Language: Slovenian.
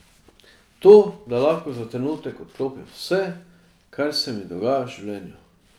To, da lahko za trenutek odklopim vse, kar se mi dogaja v življenju.